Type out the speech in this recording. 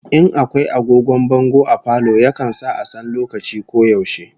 In akwai agogon bango a falo, yakan sa a san lokaci ko yaushe